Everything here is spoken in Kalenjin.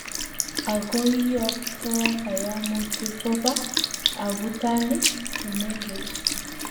agoiyokto kayamutik koba abutanik chemengech